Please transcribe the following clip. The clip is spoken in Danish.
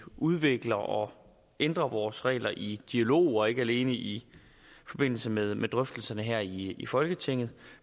udvikler og ændrer vores regler i dialog ikke alene i forbindelse med med drøftelserne her i i folketinget